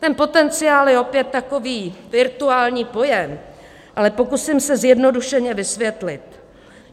Ten potenciál je opět takový virtuální pojem, ale pokusím se zjednodušeně vysvětit.